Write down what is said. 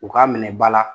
U ka minɛ ba la